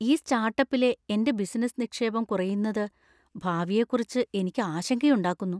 ഈ സ്റ്റാർട്ടപ്പിലെ എന്‍റെ ബിസിനസ്സ് നിക്ഷേപം കുറയുന്നത് ഭാവിയെക്കുറിച്ച് എനിക്ക് ആശങ്കയുണ്ടാക്കുന്നു.